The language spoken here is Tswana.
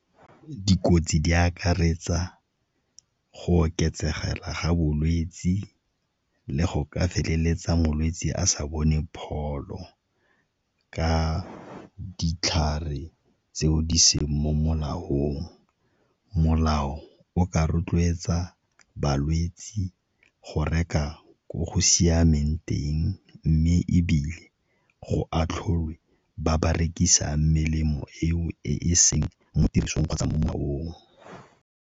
Dikotsi di akaretsa go oketsegela ga bolwetse le go ka feleletsa molwetse a sa bone pholo ka ditlhare tseo di seng mo molaong. Molao o ka rotloetsa balwetsi go reka ko go siameng teng mme ebile go atlholwa ba ba rekisang melemo eo e e seng mo tirisong kgotsa mo molaong.